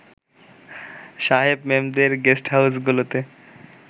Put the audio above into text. সাহেব-মেমদের গেস্টহাউসগুলোতে